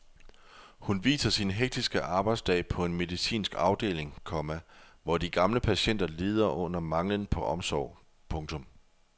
Hun viser sin hektiske arbejdsdag på en medicinsk afdeling, komma hvor de gamle patienter lider under manglen på omsorg. punktum